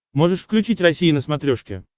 можешь включить россия на смотрешке